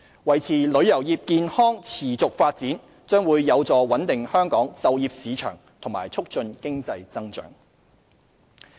維持旅遊業健康持續發展，將會有助穩定香港就業市場和促進經濟增長。